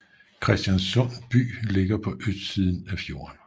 Kristiansund by ligger på østsiden af fjorden